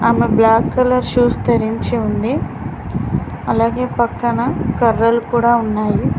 ఆమె black colour shoes ధరించి ఉంది అలాగే పక్కన కర్రలు కూడా ఉన్నాయి.